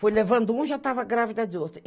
Foi levando um e já estava grávida de outro.